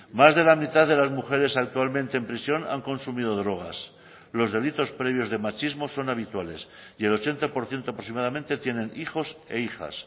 más de la mitad de las mujeres actualmente en prisión han consumido drogas los delitos previos de machismo son habituales y el ochenta por ciento aproximadamente tienen hijos e hijas